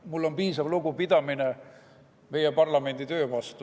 Mul on piisavalt lugupidamist meie parlamendi töö vastu.